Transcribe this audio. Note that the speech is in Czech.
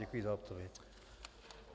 Děkuji za odpověď.